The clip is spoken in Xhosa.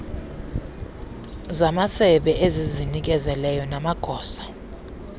zamasebe ezizinikezeleyo namagosa